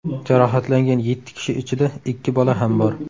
Jarohatlangan yetti kishi ichida ikki bola ham bor.